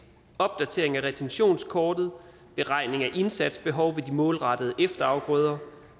opdatering af retentionskortet beregning af indsatsbehov ved de målrettede efterafgrøder